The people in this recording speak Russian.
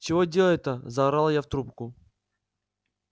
чего делать-то заорала я в трубку